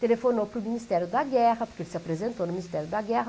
Telefonou para o Ministério da Guerra, porque ele se apresentou no Ministério da Guerra.